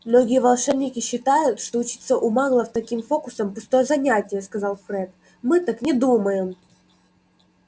многие волшебники считают что учиться у маглов таким фокусам пустое занятие сказал фред мы так не думаем